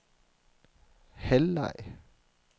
halvleg